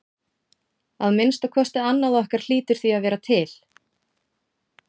Að minnsta kosti annað okkar hlýtur því að vera til.